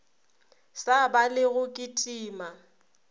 sa ba le go kitima